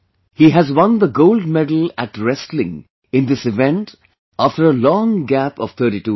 He has won the Gold Medal of Wrestling in this event after a long gap of 32 years